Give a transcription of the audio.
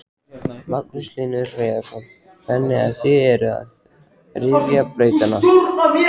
Magnús Hlynur Hreiðarsson: Þannig að þið eruð að ryðja brautina?